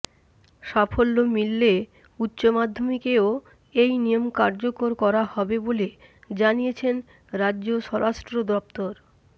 সাফল্য মিললে উচ্চমাধ্যমিকেও এই নিয়ম কার্যকরা করা হবে বলে জানিয়েছে রাজ্য স্বরাষ্ট্র দফতর